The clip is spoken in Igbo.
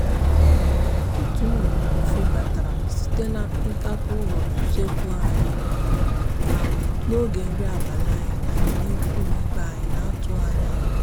otu nnụnụ febatara site na ntapu ụlọ usekwu anyị um n'oge nri abalị anyị na na ndị ikwu na ibe anyị n'atụghị anya ha.